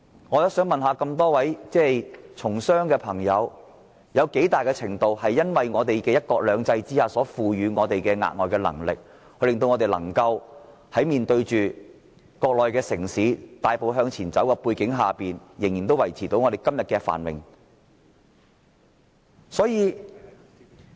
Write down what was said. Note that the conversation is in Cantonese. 我想問問一眾從商的議員，香港的競爭力有多少是來自"一國兩制"賦予我們的額外能力，令我們面對國內城市大步向前走仍能維持今天的繁榮？